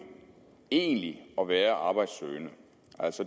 egentlig at være arbejdssøgende